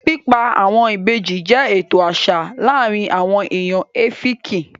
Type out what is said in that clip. Pípa àwọn ìbejì jẹ́ ètò àṣà láàrin àwon èèyàn Ẹ́fìkì